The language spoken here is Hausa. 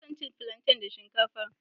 Ina son cin plantain da shinkafa